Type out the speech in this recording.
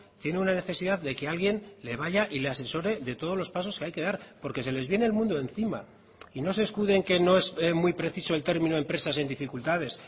tiene una necesidad de que alguien le vaya y le asesore de todos los pasos que hay que dar porque se les viene el mundo encima y no se escude en que no es muy preciso el término empresas en dificultades